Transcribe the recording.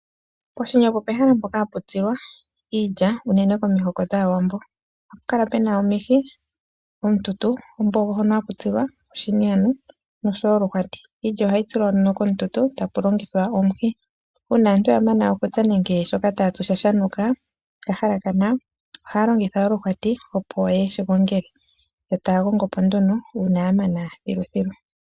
Poshini opo pehala mpoka hapu tsilwa iilya unene komihoko dhaawambo, oha pukala pena omihi, omututu ombogo hono hakutsilwa oshini ano nosho woo oluhwati. Iilya oha yitsilwa nduno komututu takulongithwa omuhi, uuna aantu yamana okutsa nenge shoka taatsu shanukako nenge shahalakana ohaya longitha oluhwati yo taya gogo po nduno uuna yamana thiluthilu.